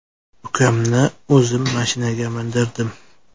Ukamni o‘zim mashinaga mindirdim.